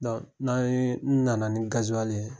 n'a ye n nana ni ye